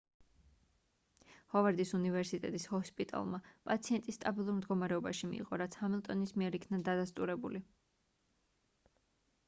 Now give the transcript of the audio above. ჰოვარდის უნივერსიტეტის ჰოსპიტალმა პაციენტი სტაბილურ მდგომარეობაში მიიღო რაც ჰამილტონის მიერ იქნა დადასტურებული